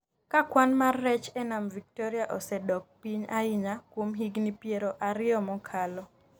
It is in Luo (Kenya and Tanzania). Ka kwan mar rech e Nam Victoria osedok piny ahinya kuom higni piero ariyo mokalo,